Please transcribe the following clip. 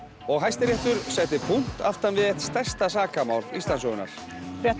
og Hæstiréttur setti punkt aftan við eitt stærsta sakamál Íslandssögunnar